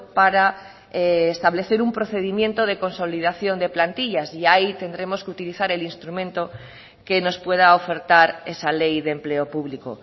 para establecer un procedimiento de consolidación de plantillas y ahí tendremos que utilizar el instrumento que nos pueda ofertar esa ley de empleo público